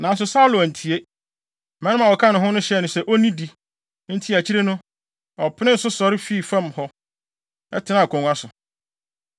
Nanso Saulo antie. Mmarima a wɔka ne ho no hyɛɛ no sɛ onnidi. Enti akyiri no, ɔpenee so sɔre fii fam hɔ, tenaa akongua so.